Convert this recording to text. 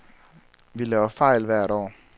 Vi laver fejl hvert år.